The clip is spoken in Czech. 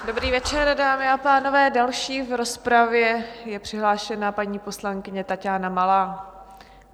Dobrý večer, dámy a pánové, další v rozpravě je přihlášena paní poslankyně Taťána Malá.